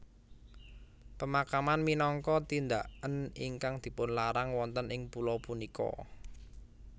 Pemakaman minangka tindaken ingkang dipunlarang wonten ing pulo punika